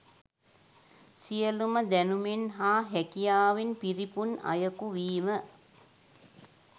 සියලුම දැනුමෙන් හා හැකියාවෙන් පිරිපුන් අයකු වීම